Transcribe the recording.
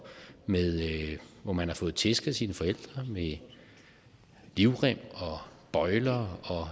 hvor man har fået tæsk af sine forældre med livrem og bøjler og